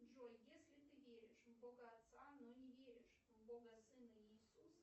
джой если ты веришь в бога отца но не веришь в бога сына иисуса